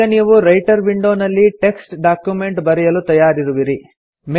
ಈಗ ನೀವು writer window ನಲ್ಲಿ ಟೆಕ್ಸ್ಟ್ ಡಾಕ್ಯುಮೆಂಟ್ ಬರೆಯಲು ತಯಾರಿರುವಿರಿ